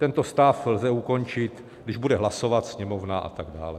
Tento stav lze ukončit, když bude hlasovat Sněmovna... a tak dále.